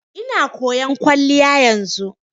Ina koyan kwalliya yanzu.